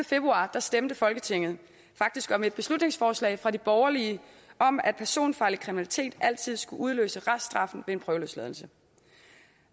februar stemte folketinget faktisk om et beslutningsforslag fra de borgerlige om at personfarlig kriminalitet altid skulle udløse reststraffen ved en prøveløsladelse